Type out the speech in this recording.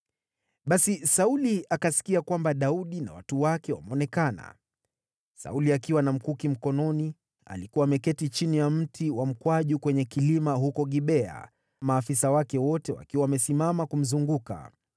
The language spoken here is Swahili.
Basi Sauli akasikia kwamba Daudi na watu wake wameonekana. Sauli akiwa na mkuki mkononi, alikuwa ameketi chini ya mti wa mkwaju kwenye kilima huko Gibea, maafisa wake wote wakiwa wamesimama kumzunguka.